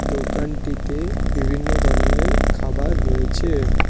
দোকানটিতে বিভিন্ন ধরনের খাবার রয়েছে।